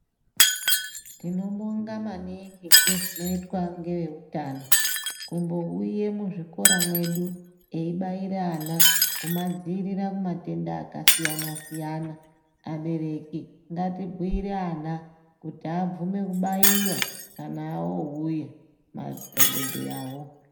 Tinobonga maningi pane zvinoita neveutano. Kumbouya muzvikora mwedu eyibaira vana kubadzivirira kumatenda akasiyana siyana. Abereki ngatibhuyire vana kuti abvume kubaiwa kna vouya madhokodheyawo.